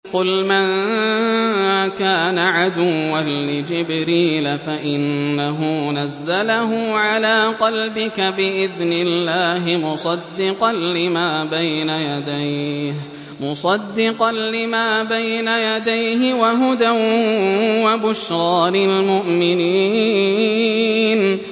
قُلْ مَن كَانَ عَدُوًّا لِّجِبْرِيلَ فَإِنَّهُ نَزَّلَهُ عَلَىٰ قَلْبِكَ بِإِذْنِ اللَّهِ مُصَدِّقًا لِّمَا بَيْنَ يَدَيْهِ وَهُدًى وَبُشْرَىٰ لِلْمُؤْمِنِينَ